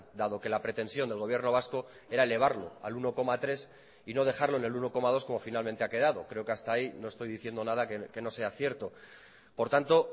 dado que la pretensión del gobierno vasco era elevarlo al uno coma tres y no dejarlo en el uno coma dos como finalmente ha quedado creo que hasta ahí no estoy diciendo nada que no sea cierto por tanto